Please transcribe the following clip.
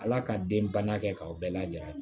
Ala ka den bang'a kɛ k'aw bɛɛ lajɛ a